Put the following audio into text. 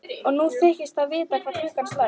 Og nú þykist það vita hvað klukkan slær.